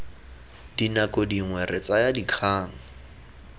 dinako dingwe re tsaya dikgang